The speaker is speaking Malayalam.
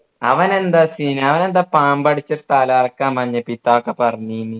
അവനെന്താ scene അവനെന്താ പാമ്പാടിച്ചു തലകറക്കാ മഞ്ഞപ്പിത്ത ഒക്കെ പറഞ്ഞീന്